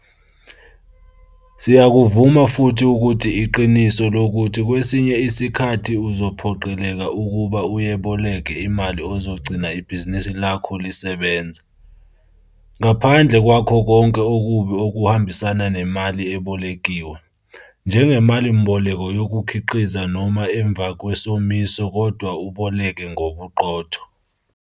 Siyakuvuma futhi ukuthi iqiniso lokuthi kwesinye isikhathi uzophoqeleka ukuba uyeboleke imali ezogcina ibhizinisi lakho lisebenza, ngaphandle kwakho konke okubi okuhambisana nemali ebolekiwe - njengemalimboleko yokukhiqiza noma emva kwesomiso kodwa uboleke ngobuqotho.